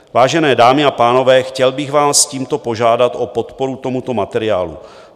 Vážené dámy a pánové, chtěl bych vás tímto požádat o podporu tomuto materiálu.